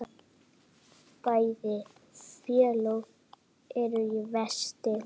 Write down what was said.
Bæði félög eru í vexti.